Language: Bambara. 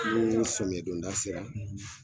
Ni sɔmiya don da sera